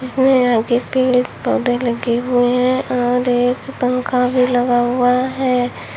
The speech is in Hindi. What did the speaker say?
पेड़ पौधे लगे हुए हैं और एक पंखा भी लगा हुआ है।